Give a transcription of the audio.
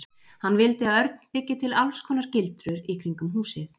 Hann vildi að Örn byggi til alls konar gildrur í kringum húsið.